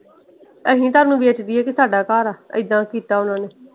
ਅਸੀਂ ਤੁਹਾਨੂੰ ਵੇਚ ਦਈਏ ਵੀ ਸਾਡਾ ਘਰ ਆ। ਇਹਦਾ ਕੀਤਾ ਓਹਨਾ ਨੇ।